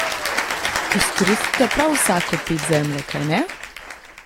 Izkoristite prav vsako ped zemlje, kajne?